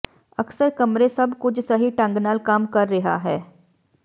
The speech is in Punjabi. ਅਕਸਰ ਕਮਰੇ ਸਭ ਕੁਝ ਸਹੀ ਢੰਗ ਨਾਲ ਕੰਮ ਕਰ ਰਿਹਾ ਹੈ